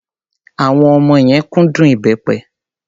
Àwọn ọmọ yẹn kúndùn ìbẹ́pẹ.